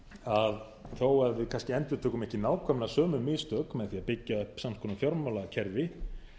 að þó að við kannski endurtökum ekki nákvæmlega sömu mistök með því að byggja upp sams konar fjármálakerfi